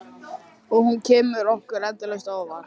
Og hún kemur okkur endalaust á óvart.